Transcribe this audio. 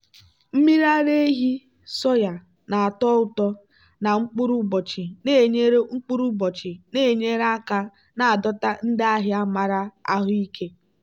mmiri ara ehi soya na-atọ ụtọ na mkpụrụ ụbọchị na-enyere mkpụrụ ụbọchị na-enyere aka na-adọta ndị ahịa maara ahụike.